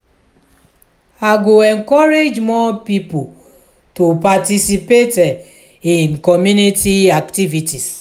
i go encourage more pipo to participate in community activities.